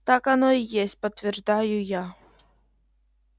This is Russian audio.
так оно и есть подтверждаю я